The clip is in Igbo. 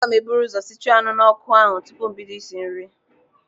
Aga m eburu ụzọ sichuo anụ n'ọkụ ahụ tupu m bido isi nri.